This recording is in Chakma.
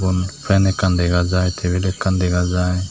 fan ekkan dega jaai tabil ekkan dega jaai.